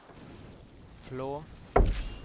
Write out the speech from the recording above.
Flå